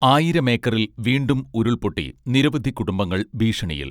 ആയിരമേക്കറിൽ വീണ്ടും ഉരുൾപൊട്ടി നിരവധി കുടുംബങ്ങൾ ഭീഷണിയിൽ